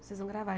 Vocês vão gravar.